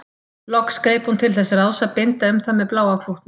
Loks greip hún til þess ráðs að binda um það með bláa klútnum.